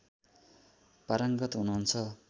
पारङ्गत हुनुहुन्छ